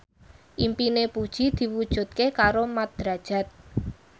impine Puji diwujudke karo Mat Drajat